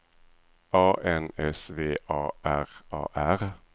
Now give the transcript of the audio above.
A N S V A R A R